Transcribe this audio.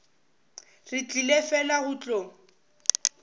re tlile fela go tlo